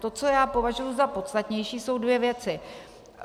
To, co já považuji za podstatnější, jsou dvě věci.